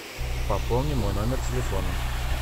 пополни мой номер телефона